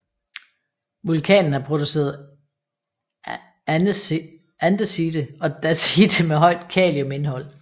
Vulkanen har produceret andesite og dacite med højt kaliumindhold